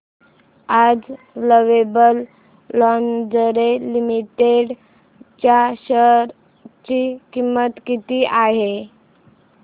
आज Lovable Lingerie Limited च्या share ची किंमत किती आहे